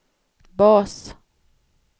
bas